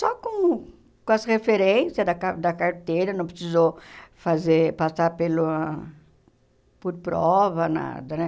Só com com as referências da ca da carteira, não precisou fazer passar pela por prova, nada né.